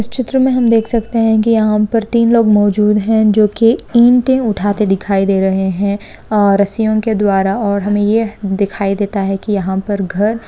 इस चित्र में हम देख सकते हैं कि यहाँ पर तीन लोग मौजूद हैं जो की ईंटें उठने दिखाई दे रहे हैं और राशियों के द्वारा। और हमें यह दिखाई देता है कि यहाँ पर घर--